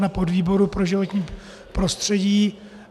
na podvýboru pro životní prostředí.